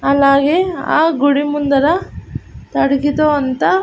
అలాగే ఆ గుడి ముందర తడిగితో అంత.